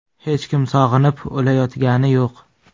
Hech kim sog‘inib, o‘layotgani yo‘q.